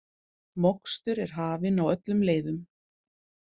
Mokstur er hafin á öllum leiðum